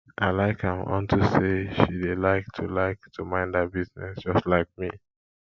i like am unto say she dey like to like to mind her business just like me